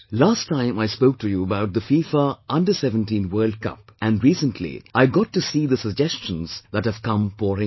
Last time I spoke to you about the FIFA Under 17 World Cup and recently I got to see the suggestions that have come pouring in